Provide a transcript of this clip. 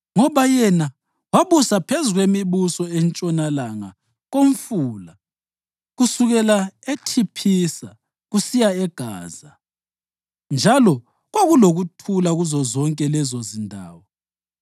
Ngoba yena wabusa phezu kwemibuso entshonalanga koMfula, kusukela eThiphisa kusiya eGaza, njalo kwakulokuthula kuzozonke lezo zindawo.